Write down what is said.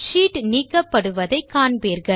sheet நீக்கப்படுவதை காண்பீர்கள்